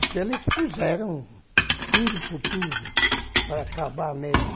Então eles fizeram tudo por tudo para acabar mesmo.